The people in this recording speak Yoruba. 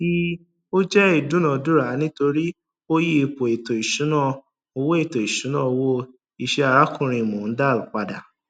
ii ò jẹ ìdúnadúrà nítorí ó yí ipò ètò ìṣúná owó ètò ìṣúná owó iṣẹ arákùnrin mondal padà